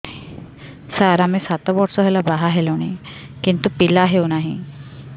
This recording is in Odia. ସାର ଆମେ ସାତ ବର୍ଷ ହେଲା ବାହା ହେଲୁଣି କିନ୍ତୁ ପିଲା ହେଉନାହିଁ